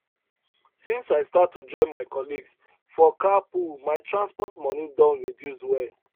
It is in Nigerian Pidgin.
since i start to join my colleagues for carpool my transport money don reduce well